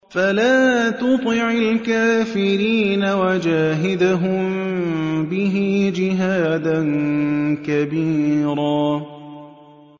فَلَا تُطِعِ الْكَافِرِينَ وَجَاهِدْهُم بِهِ جِهَادًا كَبِيرًا